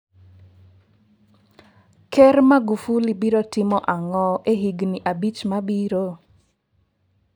Ker Magufuli biro timo ang'o e higini abich mabiro?